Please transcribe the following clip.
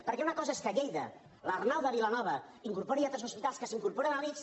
perquè una cosa és que a lleida l’arnau de vilanova incorpori altres hospitals que s’incorporen a l’ics